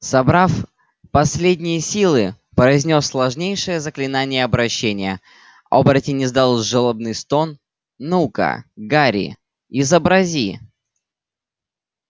собрав последние силы произнёс сложнейшее заклинание обращения оборотень издал жалобный стон ну-ка гарри изобрази